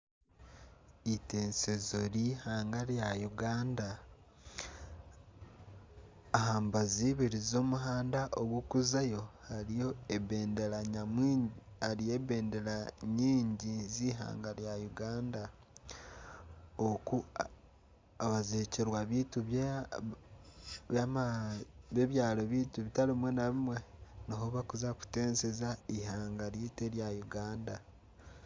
Itensezo ry'eihanga rya Uganda aha mbaju ibiri z'omuhanda ogurikuzayo hariyo ebendera nyamwingi z'eihanga rya Uganda abajwekyerwa beitu bebyaro byaitu bitari bimwe na bimwe niho barikuza kutenseza eihanga ryaitu erya Uganda.